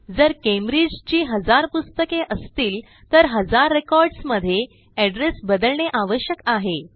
जर कॅम्ब्रिज ची हजार पुस्तके असतील तर हजार रेकॉर्डसमध्ये एड्रेस बदलणे आवश्यक आहे